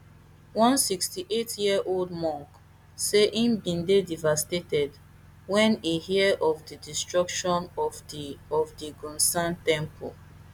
one sixty-eightyearold monk say e bin dey devastated wen e hear of di destruction of di of di gounsa temple